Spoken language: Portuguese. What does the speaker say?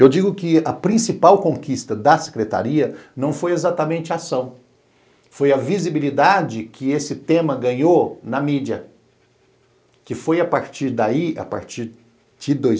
Eu digo que a principal conquista da Secretaria não foi exatamente a ação, foi a visibilidade que esse tema ganhou na mídia, que foi a partir daí, a partir de dois